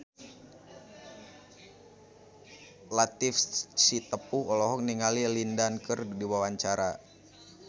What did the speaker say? Latief Sitepu olohok ningali Lin Dan keur diwawancara